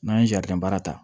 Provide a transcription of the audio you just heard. N'an ye baara ta